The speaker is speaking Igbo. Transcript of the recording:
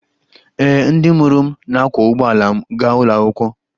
Ee, ndị mụrụ m na-akwọ ụgbọala m gaa ụlọ akwụkwọ